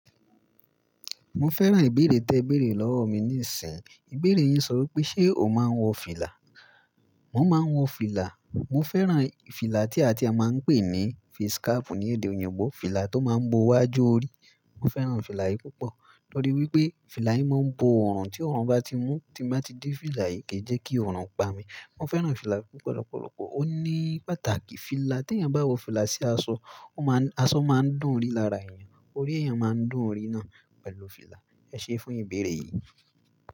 Mo fẹ́ràn ìbéèrè tẹ béèrè lọ́wọ́ mi níìsín, ìbéèrè yín sọ wípé ṣe o máa ń wọ fìlà? Mo máa ń wọ fìlà, mo fẹ́ràn fìlà tí a ti a máa ń pè ní fiskaapu ní èdè òyìnbó, fìlà tó máa ń bo wájú orí. Mo fẹ́ràn fìlà yìí púpọ̀ torí wípé fìlà yìí máa ń bo ọrùn, tí ọrùn bá ti mú, tí mo bá ti dé fìlà yìí kì í jẹ́ kí ọrùn pa mi. Mo fẹ́ràn fìlà púpọ̀ lọ́pọ̀lọpọ̀, ó ní pàtàkì. Fìlà, tí eeyan bá wọ fìlà sí aṣọ, aṣọ máa ń dùn rí lára èèyàn, orí èèyàn máa ń dùn rí náà pẹ̀lú fìlà. Ẹ ṣé fún ìbéèrè yìí.